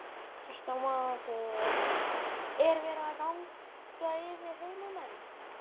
Kristján Már: Er verið að ganga yfir heimamenn?